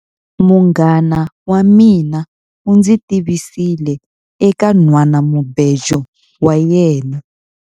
Munghana wa mina u ndzi tivisile eka nhwanamubejo wa yena.